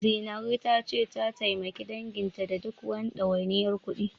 Zinaru ta ce, ta taimaki danginta da duk wani ɗawainiyar kuɗi.